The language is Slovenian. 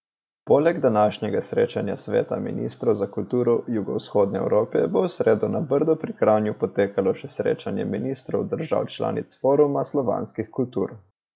Poleg današnjega srečanja Sveta ministrov za kulturo Jugovzhodne Evrope bo v sredo na Brdu pri Kranju potekalo še srečanje ministrov držav članic Foruma slovanskih kultur.